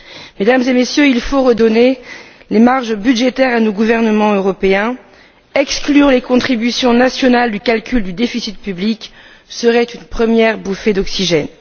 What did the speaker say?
Mesdames et Messieurs, il faut redonner les marges budgétaires à nos gouvernements européens. Exclure les contributions nationales du calcul du déficit public serait une première bouffée d'oxygène.